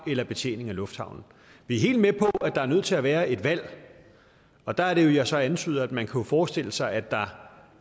eller betjening af lufthavnen vi er helt med på at der er nødt til at være et valg og der er det jo jeg så antyder at man kunne forestille sig at der